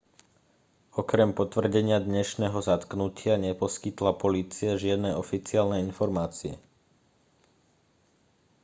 okrem potvrdenia dnešného zatknutia neposkytla polícia žiadne oficiálne informácie